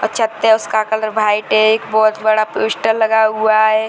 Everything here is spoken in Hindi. अच्छा ते उसका कलर व्हाइट है एक बहोत बड़ा पोस्टर लगा हुआ है।